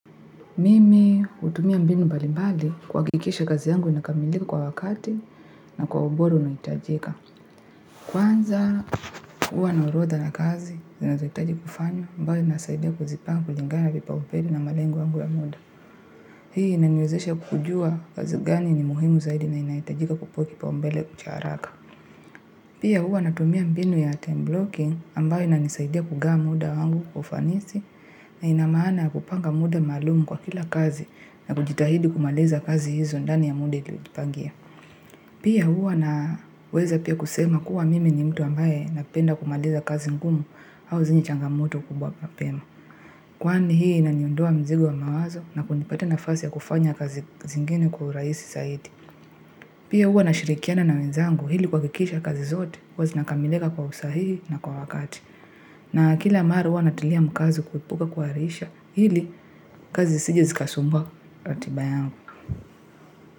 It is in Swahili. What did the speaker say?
Mimi hutumia mbinu mbalimbali kuhakikisha kazi yangu inakamilika kwa wakati na kwa ubora unaohitajika. Kwanza huwa na orodha na kazi, zinazahitaji kufanya, ambao inasaidia kuzipango kulingana na vipaoumbele na malengo yangu ya muda. Hii inaniwezesha kukujua kazi gani ni muhimu zaidi na inahitajika kupewa kipaombele cha haraka. Pia huwa natumia mbinu ya time blocking ambayo inanisaidia kugawa muda wangu kwa ufanisi na ina maana kupanga muda maalumu kwa kila kazi na kujitahidi kumaliza kazi hizo ndani ya muda ilipangia. Pia huwa naweza pia kusema kuwa mimi ni mtu ambaye napenda kumaliza kazi ngumu au zenye changamoto kubwa mapema. Kwani hii inaniondoa mzigo wa mawazo na kunipatia nafasi ya kufanya kazi zingine kwa urahisi zaidi. Pia huwa nashirikiana na wenzangu ili kuhakikisha kazi zote huwa zinakamilika kwa usahihi na kwa wakati. Na kila mara huwa natilia mkazo kuepuka kuhairisha ili kazi zisije zikasumbua ratiba yangu.